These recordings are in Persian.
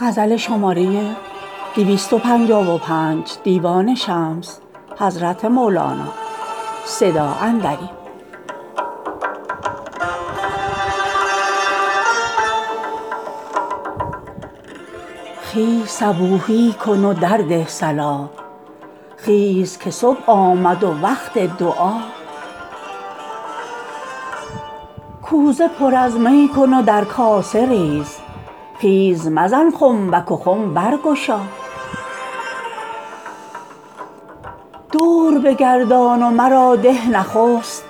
خیز صبوحی کن و درده صلا خیز که صبح آمد و وقت دعا کوزه پر از می کن و در کاسه ریز خیز مزن خنبک و خم برگشا دور بگردان و مرا ده نخست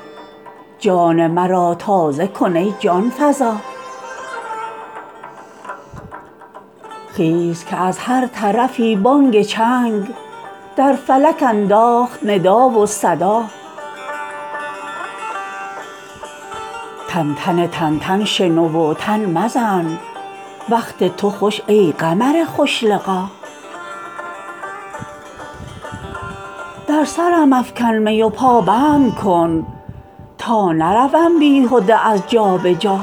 جان مرا تازه کن ای جان فزا خیز که از هر طرفی بانگ چنگ در فلک انداخت ندا و صدا تنتن تنتن شنو و تن مزن وقت تو خوش ای قمر خوش لقا در سرم افکن می و پابند کن تا نروم بیهده از جا به جا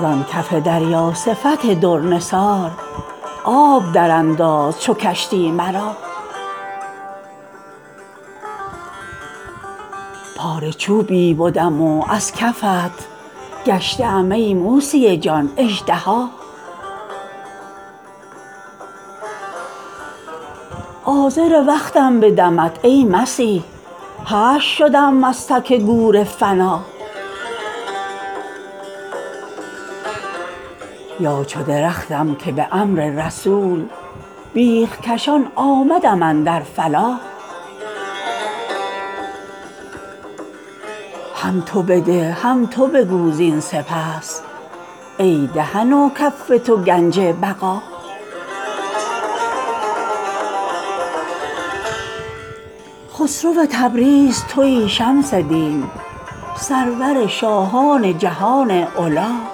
زان کف دریا صفت در نثار آب درانداز چو کشتی مرا پاره چوبی بدم و از کفت گشته ام ای موسی جان اژدها عازر وقتم به دمت ای مسیح حشر شدم از تک گور فنا یا چو درختم که به امر رسول بیخ کشان آمدم اندر فلا هم تو بده هم تو بگو زین سپس ای دهن و کف تو گنج بقا خسرو تبریز توی شمس دین سرور شاهان جهان علا